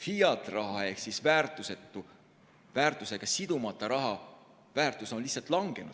fiat-raha ehk väärtusega sidumata raha väärtus on lihtsalt langenud.